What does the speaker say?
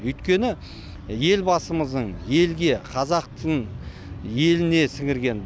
өйткені елбасымыздың елге қазақтың еліне сіңірген